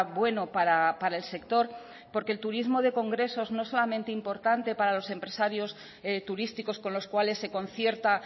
bueno para el sector porque el turismo de congresos no es solamente importante para los empresarios turísticos con los cuales se concierta